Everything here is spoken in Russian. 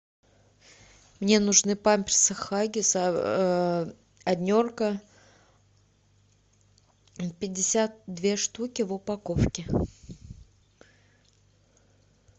мне нужны памперсы хаггис однерка пятьдесят две штуки в упаковке